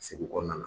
Segu kɔnɔna na